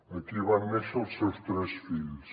aquí van néixer els seus tres fills